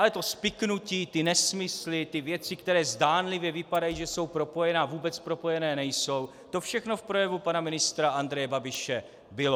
Ale to spiknutí, ty nesmysly, ty věci, které zdánlivě vypadají, že jsou propojené, a vůbec propojené nejsou, to všechno v projevu pana ministra Andreje Babiše bylo.